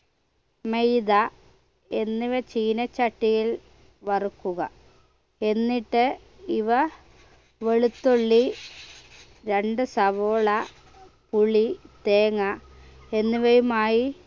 മൈദാ എന്നിവ ചീനച്ചട്ടിയിൽ വറുക്കുക എന്നിട്ട് ഇവ വെളുത്തുള്ളി രണ്ട് സവാള പുളി തേങ്ങ എന്നിവയുമായി